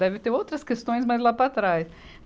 Deve ter outras questões, mas lá para trás.